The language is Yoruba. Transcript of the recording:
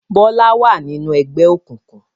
Bọlá wá ninu ẹgbẹ́ òkùnkùn